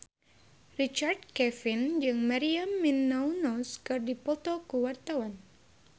Richard Kevin jeung Maria Menounos keur dipoto ku wartawan